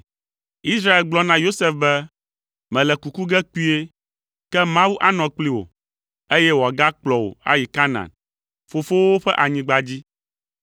Israel gblɔ na Yosef be, “Mele kuku ge kpuie, ke Mawu anɔ kpli wò, eye wòagakplɔ wò ayi Kanaan, fofowòwo ƒe anyigba dzi.